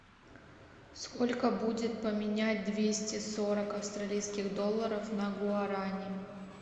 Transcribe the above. сколько будет поменять двести сорок австралийских долларов на гуарани